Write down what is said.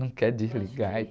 Não quer desligar e...